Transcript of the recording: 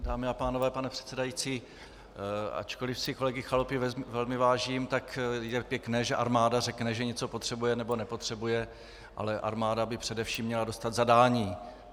Dámy a pánové, pane předsedající, ačkoliv si kolegy Chalupy velmi vážím, tak je pěkné, že armáda řekne, že něco potřebuje, nebo nepotřebuje, ale armáda by především měla dostat zadání.